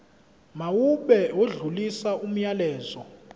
mawube odlulisa umyalezo